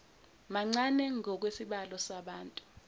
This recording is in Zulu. mancane ngokwesibalo sabantu